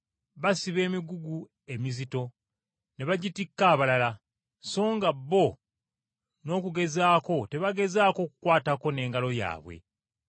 Basiba emigugu emizito ne bagitikka abalala, so nga bo n’okugezaako tebagezaako kukwatako n’engalo yaabwe.